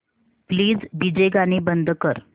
please DJ गाणी बंद कर